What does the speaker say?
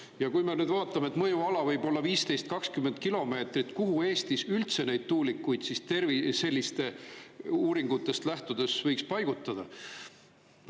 Ja kui me vaatame, et mõjuala võib-olla 15–20 kilomeetrit, kuhu Eestis üldse neid tuulikuid sellistest uuringutest lähtudes võiks paigutada?